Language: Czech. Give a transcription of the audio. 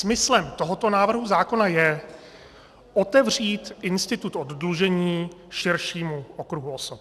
Smyslem tohoto návrhu zákona je otevřít institut oddlužení širšímu okruhu osob.